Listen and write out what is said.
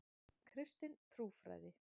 Kristin trúfræði.